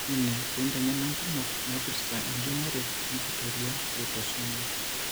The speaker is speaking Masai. Ironya ene pee inteng'ena inkumok naipirta enjung'ore enkitoria eautosomal.